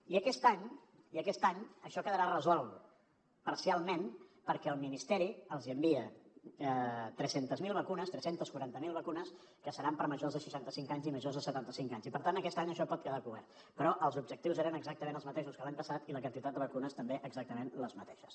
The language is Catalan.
i aquest any això quedarà resolt parcialment perquè el ministeri els envia tres cents i quaranta miler vacunes que seran per a majors de seixanta cinc anys i majors de setanta cinc anys i per tant aquest any això pot quedar cobert però els objectius eren exactament els mateixos que l’any passat i la quantitat de vacunes també exactament la mateixa